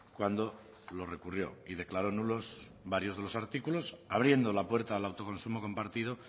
cuando lo recurrió y declaró nulos varios de los artículos abriendo la puerta al autoconsumo compartido